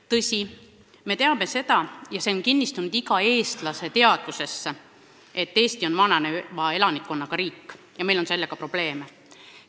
Tõsi, me teame – see on kinnistunud iga eestlase teadvusesse –, et Eesti on vananeva elanikkonnaga riik ja et meil on sellega probleeme.